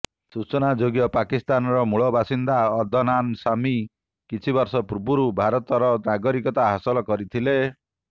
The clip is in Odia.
ସୂଚନାଯୋଗ୍ୟ ପାକିସ୍ତାନର ମୂଳ ବାସିନ୍ଦା ଅଦନାନ ସାମୀ କିଛି ବର୍ଷ ପୂର୍ବରୁ ଭାରତର ନାଗରିକତା ହାସଲ କରିଥିଲେ